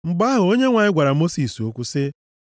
Mgbe ahụ, Onyenwe anyị gwara Mosis okwu sị,